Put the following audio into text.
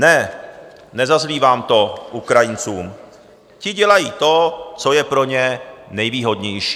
Ne, nezazlívám to Ukrajincům, ti dělají to, co je pro ně nejvýhodnější.